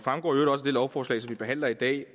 heller ikke